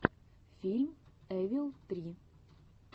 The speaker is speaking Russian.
фильм эвил три